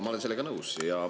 Ma olen sellega nõus.